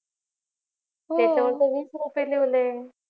हो त्याच्यावर तर वीस रुपये लिवलय